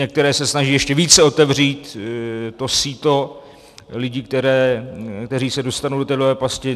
Některé se snaží ještě více otevřít to síto lidí, kteří se dostanou do té dluhové pasti.